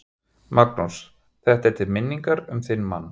Magnús: Þetta er til minningar um þinn mann?